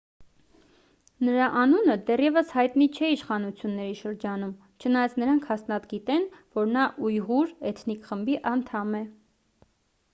նրա անունը դեռևս հայտնի չէ իշխանությունների շրջանում չնայած նրանք հաստատ գիտեն որ նա ույղուր էթնիկ խմբի անդամ է